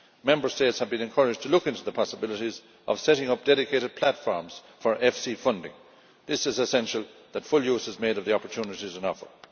Member States have been encouraged to look into the possibilities of setting up dedicated platforms for EFSI financing. It is essential that full use is made of the opportunities on offer.